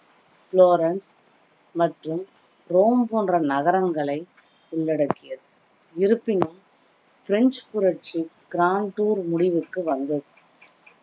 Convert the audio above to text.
Florence மற்றும் Rome போன்ற நகரங்களை உள்ளடக்கியது இருப்பினும் பிரெஞ்சு புரட்சி grand tour முடிவுக்கு வந்தது